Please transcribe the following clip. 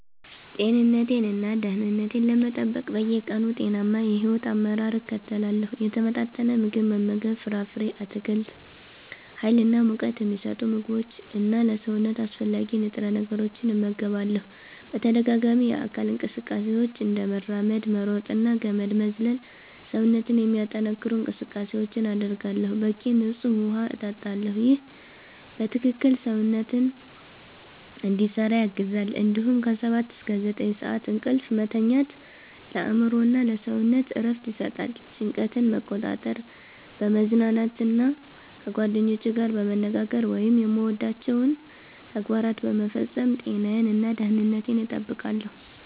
ጤንነቴን እና ደህንነቴን ለመጠበቅ በየቀኑ ጤናማ የሕይወት አመራር እከተላለሁ። የተመጣጠነ ምግብ መመገብ ፍራፍሬ፣ አትክልት፣ ሀይል እና ሙቀት ሚሰጡ ምግቦች እና ለሰውነት አስፈላጊ ንጥረ ነገሮችን እመገባለሁ። በተደጋጋሚ የአካል እንቅስቃሴዎች፤ እንደ መራመድ፣ መሮጥ እና ገመድ መዝለል ሰውነትን የሚያጠነክሩ እንቅስቃሴዎችን አደርጋለሁ። በቂ ንፁህ ውሃ እጠጣለሁ ይህ በትክክል ሰውነትን እንዲሰራ ያግዛል እንዲሁም ከ 7–9 ሰዓት እንቅልፍ መተኛት ለአእምሮ እና ለሰውነት እረፍት ይሰጣል። ጭንቀትን መቆጣጠር፣ በመዝናናት እና ከጓደኞቼ ጋር በመነጋገር ወይም የምወዳቸውን ተግባራት በመፈጸም ጤናዬን እና ደህንነቴን እጠብቃለሁ።